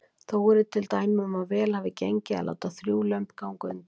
Þó eru til dæmi um að vel hafi gengið að láta þrjú lömb ganga undir.